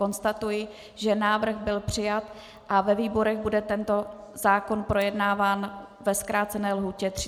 Konstatuji, že návrh byl přijat a ve výborech bude tento zákon projednáván ve zkrácené lhůtě 30 dní.